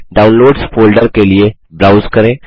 downloads folder के लिए browse करें